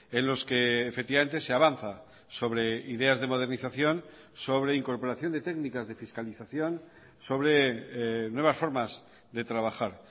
en los que efectivamente se avanza sobre ideas de modernización sobre incorporación de técnicas de fiscalización sobre nuevas formas de trabajar